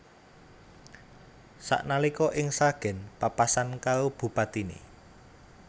Sak nalika ning Sragen papasan karo bupatine